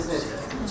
Bildiniz necə?